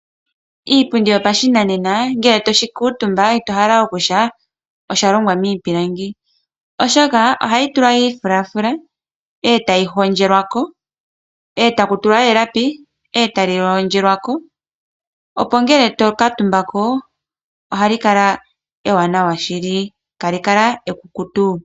Iipundi yopashinanena ngele toshi kuutumba ito hala oku tya osha longwa miipilangi. Oshoka ohayi tulwa omafulafula eta ga hondjelwa ko. Oha ku tulwa woo elapi etali hondjelwa ko opo kaashikale oshikukutu ngele to kuutumba ko.